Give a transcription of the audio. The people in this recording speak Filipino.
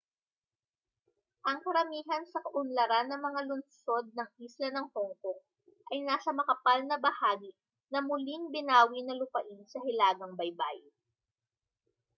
ang karamihan sa kaunlaran ng mga lungsod ng isla ng hongkong ay nasa makapal na bahagi ng muling binawi na lupain sa hilagang baybayin